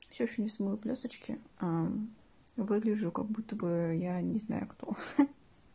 ксюша не смыла блёсточки выгляжу как будто бы я не знаю кто